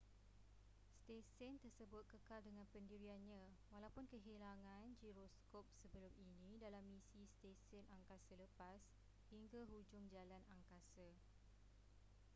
stesen tersebut kekal dengan pendiriannya walaupun kehilangan giroskop sebelum ini dalam misi stesen angkasa lepas hingga hujung jalan angkasa